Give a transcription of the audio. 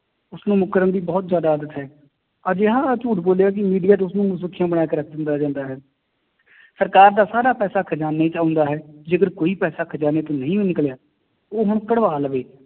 ਉਸਨੂੰ ਮੁਕਰਨ ਦੀ ਬਹੁਤ ਜ਼ਿਆਦਾ ਆਦਤ ਹੈ, ਅਜਿਹਾ ਝੂਠ ਬੋਲੇਗਾ ਕਿ media ਚ ਉਸਨੂੰ ਸੁਰਖੀਆਂ ਬਣਾ ਕੇ ਰੱਖ ਦਿੱਤਾ ਜਾਂਦਾ ਹੈ ਸਰਕਾਰ ਦਾ ਸਾਰਾ ਪੈਸਾ ਖਜ਼ਾਨੇ ਚ ਆਉਂਦਾ ਹੈ, ਜੇਕਰ ਕੋਈ ਪੈਸਾ ਖਜ਼ਾਨੇ ਚੋਂ ਨਹੀਂ ਵੀ ਨਿਕਲਿਆ ਉਹ ਹੁਣ ਕਢਵਾ ਲਵੇ